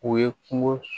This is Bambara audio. O ye kungo